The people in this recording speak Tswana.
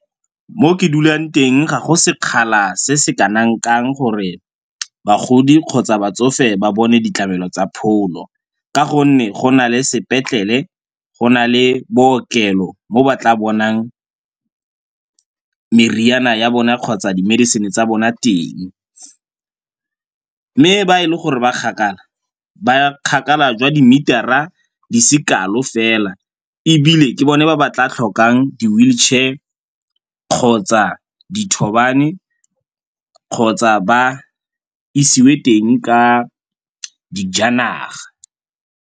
Mo ke dulang teng ga go sekgala se se kanang-kang gore bagodi kgotsa batsofe ba bone ditlamelo tsa pholo ka gonne go na le sepetlele, go na le bookelo mo ba tla bonang meriana ya bona kgotsa di-medicine-e tsa bona teng. Mme ba e le gore ba kgakala ba kgakala jwa di-meter-a di se kalo fela ebile ke bone ba tla tlhokang di-wheelchair kgotsa dithobane kgotsa ba isiwe teng ka dijanaga.